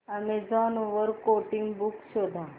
Amazon वर coding books शोधा